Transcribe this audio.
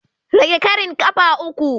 Rage ƙarin ƙafa uku.